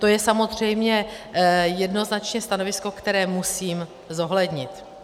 To je samozřejmě jednoznačně stanovisko, které musím zohlednit.